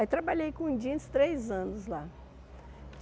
Aí trabalhei com jeans três anos lá.